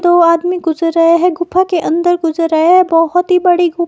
दो आदमी गुजर रहे है गुफा के अंदर गुजर रहे है बहुत ही बड़ी